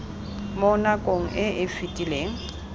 mo nakong e e fetileng